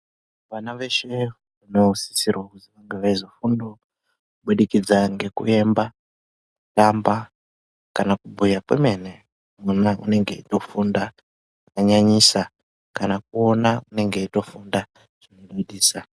Vana veshe vanosisirawo kunge veizofundawo, kubudikidza ngekuemba ,kutamba ,kana kubhuya kwemene, mwana unenge eitofunda zvakanyanyisa ,kana kuona unenge eitofunda zvinodadisa.